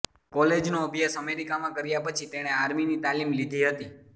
કોલેજનો અભ્યાસ અમેરિકામાં કર્યા પછી તેણે આર્મીની તાલિમ લીધી હતી